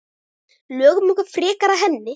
Lögum okkur frekar að henni.